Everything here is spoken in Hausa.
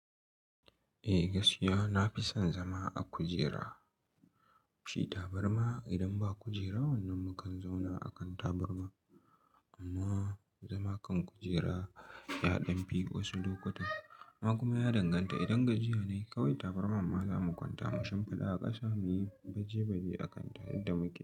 Eh gaskiya nafison zama a kujera, shi tabarma idan ba kujera wannan mukan zauna akan tabarma. Amma zama kan kujera ya ɗan fi wasu lokutan. Amma kuma ya danganta idan gajiya ne kawai tabarma ma zamu kwanta mu shimfiɗa a ƙasa muyi baje-baje akan ta yandan muke yi.